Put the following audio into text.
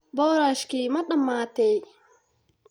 Boorashkii ma dhammaatay?